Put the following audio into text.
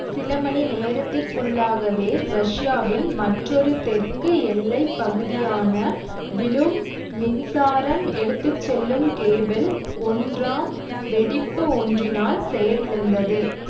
சில மணி நேரத்திற்குள்ளாகவே ரஷ்யாவின் மற்றொரு தெற்கு எல்லை பகுதியான விலும் மின்சாரம் எடுத்து செல்லும் கேபிள் ஒன்றாம் வெடிப்பு ஒன்றினால் செயலிழந்தது